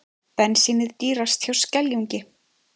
Bensínið dýrast hjá Skeljungi